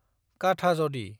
काठाजदि